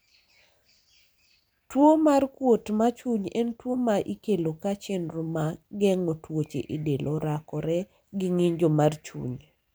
tuo mar kuot ma chuny en tuo ma ikelo ka chenro ma geng'o tuoche e del orakore gi ng'injo mar chuny